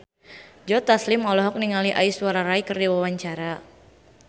Joe Taslim olohok ningali Aishwarya Rai keur diwawancara